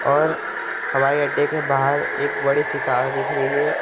और हवाई अड्डे के बाहर एक बड़ी सी कार दिख रही है।